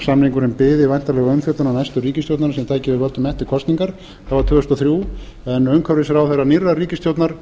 samningurinn biði væntanlega umfjöllun næstu ríkisstjórnar sem tæki við völdum eftir kosningar það var tvö þúsund og þrjú en umhverfisráðherra nýrrar ríkisstjórnar